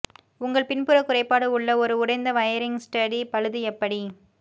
உங்கள் பின்புற குறைபாடு உள்ள ஒரு உடைந்த வயரிங் ஸ்டடி பழுது எப்படி